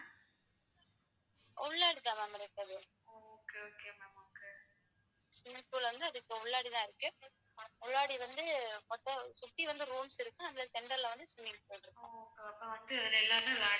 இப்ப வந்து ,